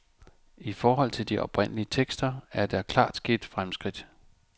I forhold til de oprindelige tekster, er der klart sket fremskridt.